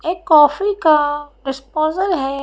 एक कॉफी का डिस्पोज़ल है।